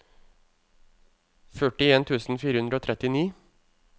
førtien tusen fire hundre og trettini